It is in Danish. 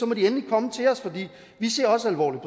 må de endelig komme til os for vi ser også alvorligt